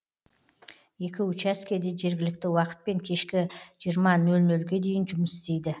екі учаске де жергілікті уақытпен кешкі жиырма нөл нөлге дейін жұмыс істейді